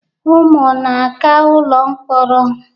Unu na-aga ụlọ mkpọrọ?